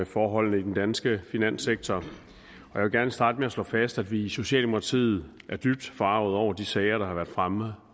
forholdene i den danske finanssektor jeg vil gerne starte med at slå fast at vi i socialdemokratiet er dybt forargede over de sager der har været fremme